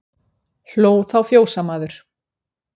Hló þá fjósamaður.